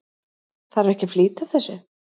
Þarf ekki að flýta þessu?